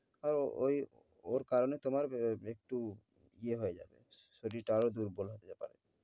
আর ঐ ও~ ওর কারণে তোমার ব~একটু ইয়ে হয়ে যাবে শরীরটা আরও দুর্বল হয়ে যেতে পারে।